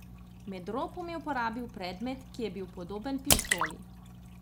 Med ropom je uporabil predmet, ki je bil podoben pištoli.